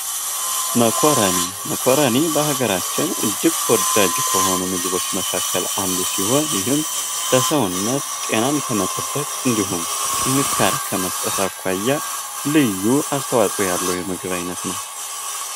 መኮረኒ መኮረኒ በሀገራችን እጅግ ተወዳጅ ከሆኑ ምግቦች መካከል አንዱ ሲሆን ይህም ለሰውነት ጤናን ከመጠበቅ እንድሁም ጥንካሬ ከመስጠት አኳያ ልዩ አስተዋፅኦ ያለው የምግብ አይነት ነው።